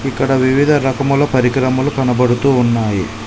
ఇక్కడ వివిధ రకముల పరికరములు కనబడుతు ఉన్నాయి.